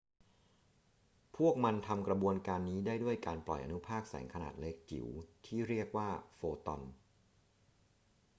พวกมันทำกระบวนการนี้ได้ด้วยการปล่อยอนุภาคแสงขนาดเล็กจิ๋วที่เรียกว่า โฟตอน photon